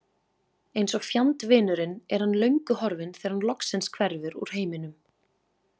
Eins og fjandvinurinn er hann löngu horfinn þegar hann loksins hverfur úr heiminum.